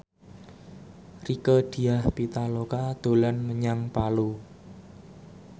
Rieke Diah Pitaloka dolan menyang Palu